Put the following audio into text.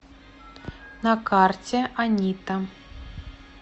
на карте анита